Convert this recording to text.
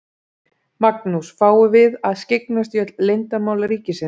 Magnús: Fáum við að skyggnast í öll leyndarmál ríkisins?